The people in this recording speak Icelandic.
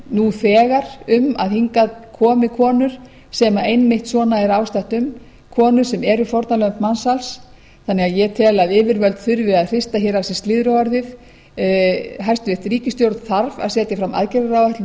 nú þegar um að hingað komi konur sem einmitt svona er ástatt um konur sem eru fórnarlamb mansals þannig að ég tel að yfirvöld þurfi að hrista hér af sé slyðruorðið hæstvirt ríkisstjórn þarf að setja fram aðgerðaráætlun